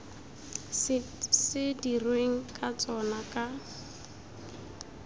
se dirweng ka tsona ka